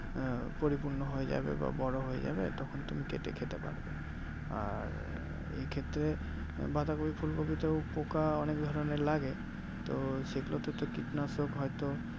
হ্যাঁ পরিপূর্ণ হয়ে যাবে বা বড় হয়ে যাবে তখন তুমি কেটে খেতে পারবে। আর এই ক্ষেত্রে বাঁধাকপি ফুলকপি তেও পোকা অনেক ধরণের লাগে তো সেগুলোতে তো কীটনাশক হয়তো